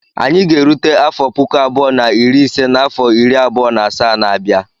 Anyị ga-erute afọ puku abụọ na iri ise n'afọ iri abụọ na asaa na-abịa.